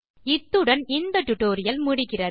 இத்துடன் இந்த டியூட்டோரியல் முடிகிறது